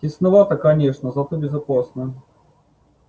тесновато конечно зато безопасно